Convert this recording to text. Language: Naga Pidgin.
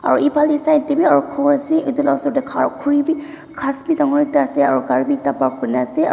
aru efale side teh be aru ghor ase etu laga ashor teh khara khori be ghas be dangor ekta ase aru gari be ekta park kuri na ase aru--